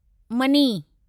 money